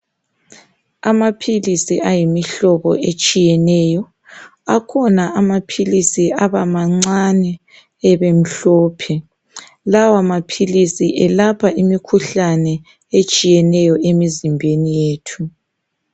Amaphilisi ayimihlobo etshiyeneyo, akhona amaphilisi aba mancane ebemhlophe, lawa maphilisi elapha imikhuhlane etshiyeneyo emzimbeni yethu.